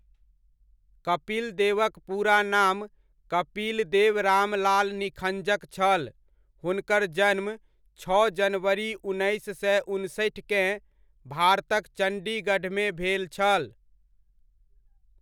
कपिल देवक पूरा नाम कपिलदेव रामलाल निखञ्जक छल, हुनकर जन्म, छओ जनवरी उन्नैस सए उनसठिकेँ, भारतक चण्डीगढमे भेल छल।